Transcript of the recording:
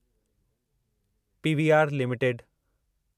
PVR limited